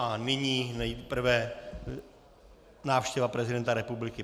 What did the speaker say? A nyní nejprve návštěva prezidenta republiky.